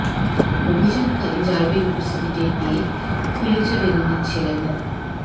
অভিযানকালে র্যাবের উপস্থিতি টের পেয়ে ফুলেছা বেগমের ছেলে মো